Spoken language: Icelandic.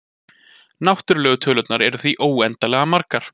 Náttúrlegu tölurnar eru því óendanlega margar.